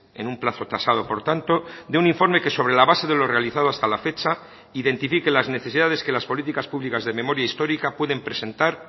en un plazo tasado por tanto de un informe que sobre la base de lo realizado hasta la fecha identifique las necesidades que las políticas públicas de memoria histórica pueden presentar